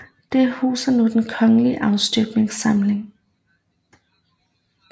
Det huser nu Den Kongelige Afstøbningssamling